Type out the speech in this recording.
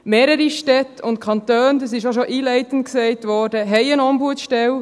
Mehrere Städte und Kantone – dies wurde auch schon einleitend gesagt – haben eine Ombudsstelle.